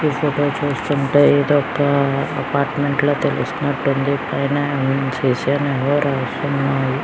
ఈ ఫోటో చూస్తుంటే ఇదొక అపార్ట్మెంట్ ల తెలుస్తున్నట్టుంది పైన --